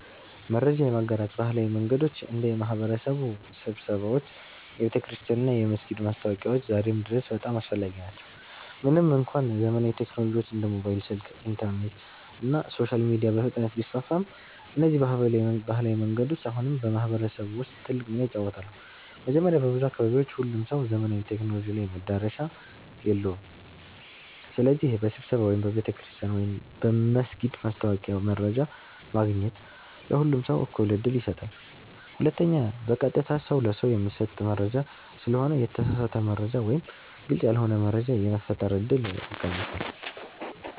መረጃ የማጋራት ባህላዊ መንገዶች እንደ የማህበረሰብ ስብሰባዎች፣ የቤተክርስቲያን እና የመስጊድ ማስታወቂያዎች ዛሬም ድረስ በጣም አስፈላጊ ናቸው። ምንም እንኳ ዘመናዊ ቴክኖሎጂዎች እንደ ሞባይል ስልክ፣ ኢንተርኔት እና ሶሻል ሚዲያ በፍጥነት ቢስፋፉም፣ እነዚህ ባህላዊ መንገዶች አሁንም በማህበረሰብ ውስጥ ትልቅ ሚና ይጫወታሉ። መጀመሪያ፣ በብዙ አካባቢዎች ሁሉም ሰው ዘመናዊ ቴክኖሎጂ ላይ መዳረሻ የለውም። ስለዚህ በስብሰባ ወይም በቤተ ክርስቲያን/መስጊድ ማስታወቂያ መረጃ ማግኘት ለሁሉም ሰው እኩል ዕድል ይሰጣል። ሁለተኛ፣ በቀጥታ ሰው ለሰው የሚሰጥ መረጃ ስለሆነ የተሳሳተ መረጃ ወይም ግልጽ ያልሆነ መረጃ የመፈጠር እድል ይቀንሳል።